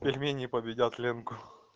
пельмени победят ленку